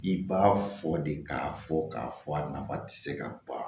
I b'a fɔ de k'a fɔ k'a fɔ a nafa ti se ka ban